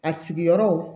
A sigiyɔrɔ